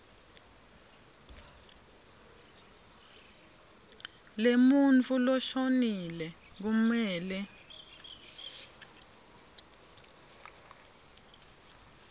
lemuntfu loshonile kumele